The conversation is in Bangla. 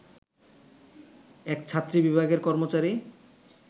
এক ছাত্রী বিভাগের কর্মচারী